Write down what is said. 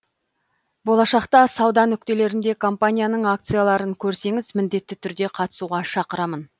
болашақта сауда нүктелерінде компанияның акцияларын көрсеңіз міндетті түрде қатысуға шақырамын